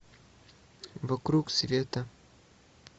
вокруг света